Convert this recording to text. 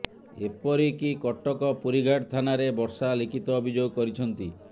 ଏପିରିକ କଟକ ପୁରୀଘାଟ ଥାନାରେ ବର୍ଷା ଲିଖିତ ଅଭିଯୋଗ କରିଛନ୍ତି